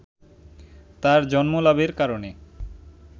তার জন্মলাভের কারণে